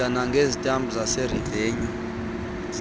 oda nangezitampu zaserevenyu